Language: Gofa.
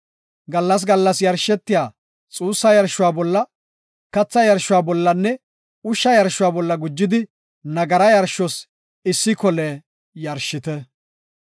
Gallas gallas yarshetiya xuussa yarshuwa bolla, katha yarshuwa bollanne ushsha yarshuwa bolla gujidi nagara yarshos issi kole yarshite.